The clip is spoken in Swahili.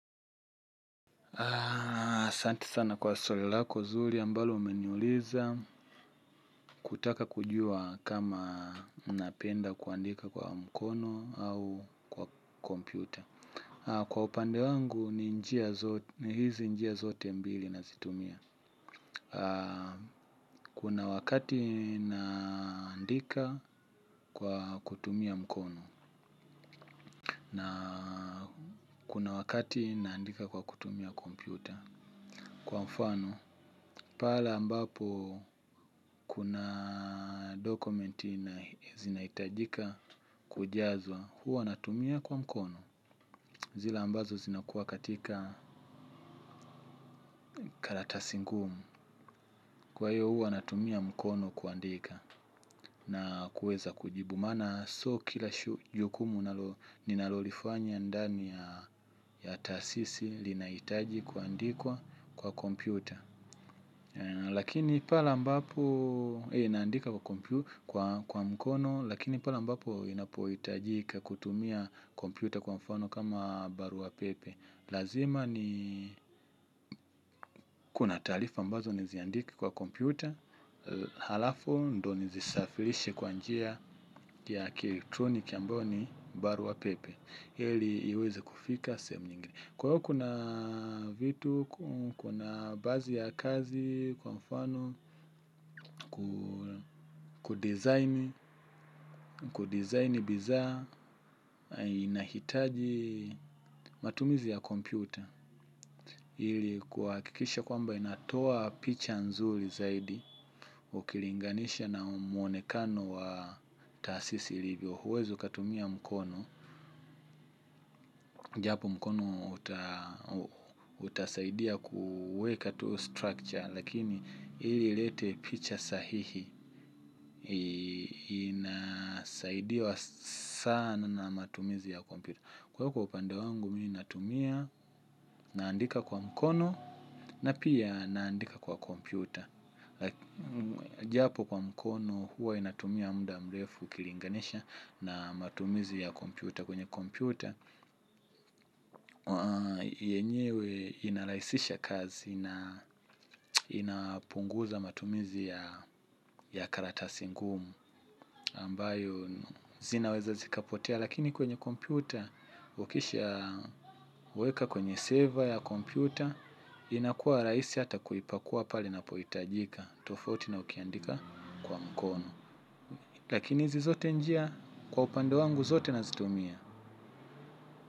Asante sana kwa swali lako zuri ambalo umeniuliza kutaka kujua kama unapenda kuandika kwa mkono au kwa kompyuta. Kwa upande wangu ni hizi njia zote mbili na zitumia. Kuna wakati naandika kwa kutumia mkono. Na kuna wakati naandika kwa kutumia kompyuta. Kwa mfano, pale ambapo kuna dokumenti na zinaitajika kujazwa, huwa natumia kwa mkono. Zile ambazo zinakuwa katika karatasi ngumu. Kwa hiyo huwa natumia mkono kuandika na kuweza kujibu maana. Sio kila jukumu ninalolifanya ndani ya taasisi linaitaji kuandikwa kwa kompyuta. Lakini pale ambapo inaandika kwa mkono lakini pale ambapo inapoitajika kutumia kompyuta kwa mfano kama barua pepe lazima ni kuna talifa ambazo niziandika kwa kompyuta. Halafu ndo nizisafilishe kwa njia ya kielektronik ambayo ni barua pepe. Ili iweze kufika sehemu nyingine. Kwa hiyo kuna vitu, kuna baazi ya kazi, kwa mfano, kudizaini, kudizaini bizaa, inahitaji matumizi ya kompyuta. Hili kuwakikisha kwamba inatoa picha nzuri zaidi, ukilinganisha na mwonekano wa taasisi ilivyo. Huwezi ukatumia mkono. Japo mkono utasaidia kuweka tu structure. Lakini ili ilete picha sahihi saidiwa sana na matumizi ya kompyuta. Kwa hivo kwa upande wangu mimi natumia naandika kwa mkono. Na pia naandika kwa kompyuta. Japo kwa mkono huwa inatumia muda mrefu ukilinganisha na matumizi ya kompyuta kwenye kompyuta, yenyewe inarahisisha kazi na inapunguza matumizi ya karatasi ngumu ambayo zinaweza zikapotea lakini kwenye kompyuta, ukisha weka kwenye saver ya kompyuta inakuwa rahisi hata kuipakua pale napoitajika tofauti na ukiandika kwa mkono lakini hizi zote njia kwa upande wangu zote nazitumia.